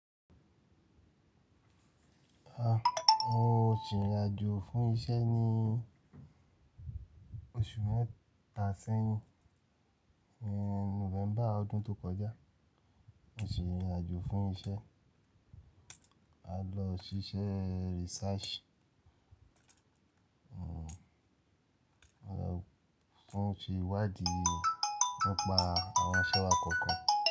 A, mo rìn ìrìn àjò fún iṣẹ́ ní oṣù mẹ́ta sẹ́yìn, ní November ọdún tó kọjá. Mo sì rìn ìrìn àjò fún iṣẹ́, a lọ síṣẹ́ research, o, fún ti iwadi nípa àwọn isẹ́wà kọ̀ọ̀kan.